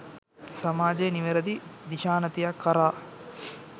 සමාජය නිවැරදි දිශානතියක් කරා